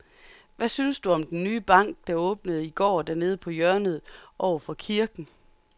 Hvad synes du om den nye bank, der åbnede i går dernede på hjørnet over for kirken?